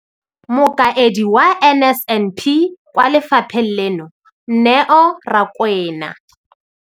Mokaedi wa NSNP kwa lefapheng leno, Neo Rakwena.